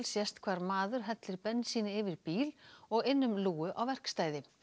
sést hvar maður hellir bensíni yfir bíl og inn um lúgu á verkstæði